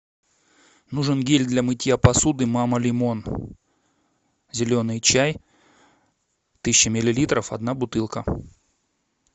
нужен гель для мытья посуды мама лимон зеленый чай тысяча миллилитров одна бутылка